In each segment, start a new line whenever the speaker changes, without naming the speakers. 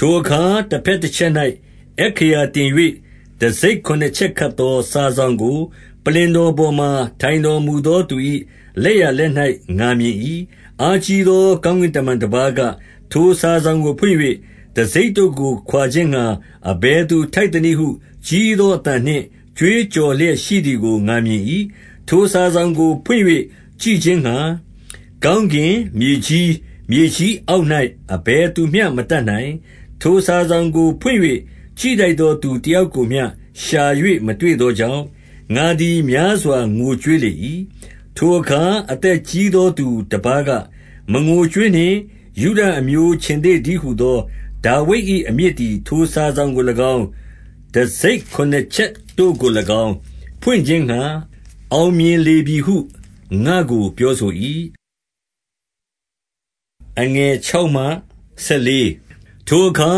ထိုအခါတဘက်တချက်၌ အက္ခရာတင်၍ တံဆိပ်ခုနစ်ချက် ခတ်သော စာစောင်ကို ပလ္လင်တော်ပေါ် မှာ ထိုင်တော်မူသောသူ၏ လက်ျာလက်၌ငါမြင်၏။ 2 အားကြီးသောကောင်းကင်တမန်တပါးက၊ ထိုစာစောင်ကိုဖွင့်၍ တံဆိပ်တို့ကိုခွါခြင်းငှါ အဘယ်သူထိုက် သနည်းဟု ကြီးသောအသံနှင့် ကြွေးကြော်လျက်ရှိသည်ကို ငါမြင်၏။ 3 ထိုစာစောင်ကိုဖွင့်၍ကြည့်ခြင်းငှါ ကောင်းကင်၊ မြေကြီး၊ မြေကြီးအောက်၌ အဘယ်သူမျှမတတ်နိုင်။ ထိုစာစောင်ကိုဖွင့်၍ ကြည့်ထိုက်သောသူ တယောက်ကိုမျှ ရှာ၍မတွေ့သောကြောင့်၊ ငါသည် များစွာငိုကြွေးလေ၏။ 4 ထိုအခါအသက်ကြီးသောသူတပါးက၊ မငိုကြွေးနှင့်၊ ယုဒအမျိုး ခြင်္သေ့သတည်းဟူသော ဒါဝိဒ်၏။ အမြစ်သည် ထိုစာစောင်ကို၎င်း၊ 5 တံဆိပ် ခုနစ် ချက်တို့ကို၎င်း၊ ဖွင့်ခြင်းငှါ အောင်မြင်လေပြီဟု ငါ့ကို ပြောဆို၏။ 6 ထိုအခါ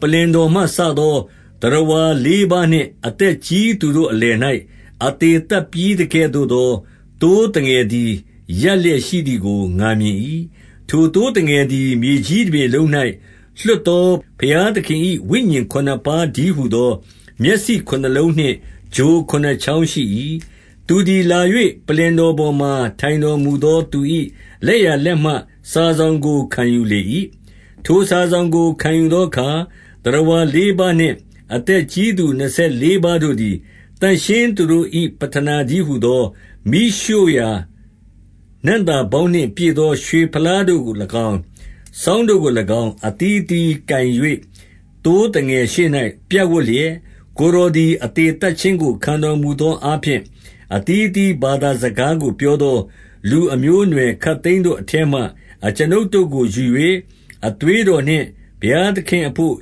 ပလ္လင်တော်မှစသော သတ္တဝါလေးပါး နှင့်အသက်ကြီး သူတို့အလယ်၌၊ အသေသတ်ပြီးသကဲ့သို့ သော သိုးသငယ်သည် ရပ်လျက်ရှိသည်ကို ငါမြင်၏။ ထိုသိုးသငယ်သည် မြေကြီးတပြင်လုံး၌ လွှတ်သော ဘုရားသခင်၏ ဝိညာဉ်ခုနစ်ပါးတည်းဟူသော မျက်စိ ခုနစ်လုံးနှင့် ချိုခုနစ်ချောင်းရှိ၏။ 7 သူသည်လာ၍ ပလ္လင်တော်ပေါ်မှာထိုင်တော်မူသော သူ၏ လက်ျာလက်မှစာစောင်ကို ခံယူလေ၏။ 8 ထိုစာစောင်ကိုခံယူသောအခါ၊ သတ္တဝါလေးပါးနှင့် အသက်ကြီးသူနှစ်ဆယ်လေးပါးတို့သည်၊ သန့်ရှင်းသူတို့၏ ပဌနာတည်းဟူသောမီးရှို့ရာ နံ့သာပေါင်းနှင့် ပြည့်သော ရွှေဖလားတို့ကို၎င်း၊ စောင်းတို့ကို၎င်း၊ အသီးသီးကိုင်၍ သိုးသငယ်ရှေ့၌ပြပ်ဝပ်လျက်၊ 9 ကိုယ်တော်သည် အသေသတ်ခြင်းကို ခံတော် မူသောအားဖြင့်၊ အသီးအသီးဘာသာစကားကို ပြောသော လူအမျိုးအနွယ်ခပ်သိမ်းတို့အထဲမှ အကျွန်ုပ်တို့ကိုယူ၍၊ အသွေးတော်နှင့် ဘုရား သခင်အဘို့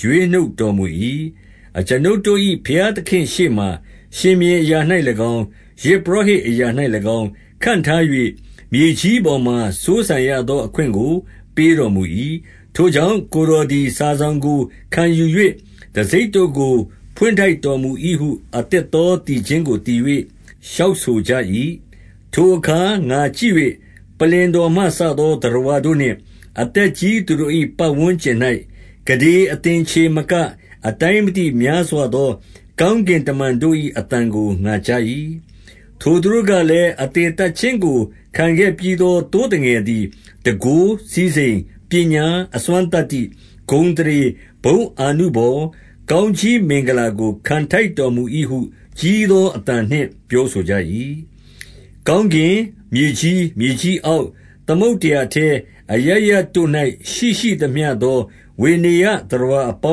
ရွေးနှုတ်တော်မူ၏။ 10 အကျွန်ုပ်တို့၏ ဘုရားသခင်ရှေ့မှာ၊ ရှင်ဘုရင်အရာ၌၎င်း၊ ယဇ်ပုရောဟိတ်အရာ၌၎င်း၊ ခန့်ထား၍၊ မြေကြီးပေါ်မှာ စိုးစံရသော အခွင့်ကိုပေးတော်မူ၏။ ထိုကြောင့်၊ ကိုယ်တော်သည် စာစောင်ကို ခံယူ၍တံဆိပ်တို့ကို ဖွင့်ထိုက်တော်မူ၏ဟု အသစ်သောသီချင်းကိုသီ၍ လျှောက်ဆိုကြ၏။ 11 ထိုအခါ ငါကြည့်၍ ပလ္လင်တော်မှစသော သတ္တဝါတို့နှင့် အသက်ကြီးသူတို့၏ ပတ်ဝန်းကျင်၌ ကုဋေ သင်္ချေမကအတိုင်းမသိ များစွာသော ကောင်းကင်တမန် တို့၏ အသံကို ငါကြား၏။ 12 ထိုသူတို့ကလည်း၊ အသေသတ်ခြင်းကိုခံခဲ့ပြီးသော သိုးသငယ်သည်၊ တန်ခိုး၊ စည်းစိမ်၊ ပညာ၊ အစွမ်း သတ္တိ၊ ဂုဏ်အသရေ၊ ဘုန်းအာနုဘော်၊ ကောင်းကြီး မင်္ဂလာကိုခံထိုက်တော်မူ၏ဟု ကြီးသောအသံနှင့် ပြောဆိုကြ၏။ 13 ကောင်းကင်၊ မြေကြီး၊ မြေကြီးအောက်၊ သမုဒ္ဒရာအထဲ၊ အရပ်ရပ်တို့၌ရှိရှိသမျှသော ဝေနေယျသတ္တဝါ အပေါ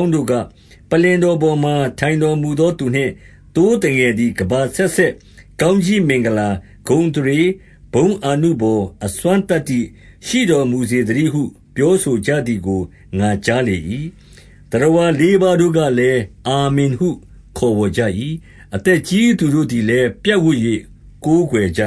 င်းတို့က၊ ပလ္လင်တော်ပေါ်မှာ ထိုင်တော်မူသောသူနှင့် သိုးသငယ်သည် ကမ္ဘာအဆက်ဆက် ကောင်းကြီး မင်္ဂလာ၊ ဂုဏ်အသရေ၊ ဘုန်းအာနုဘော်၊ အစွမ်းသတ္တိရှိ တော်မူစေသတည်းဟု ပြောဆိုကြသည်ကို ငါကြား လေ၏။ 14 သတ္တဝါလေးပါးတို့ကလည်း အာမင်ဟုခေါ်ဝေါ်ကြ၏။ အသက်ကြီးသူတို့သည်လည်း ပြပ်ဝပ်၍ ကိုးကွယ်ကြ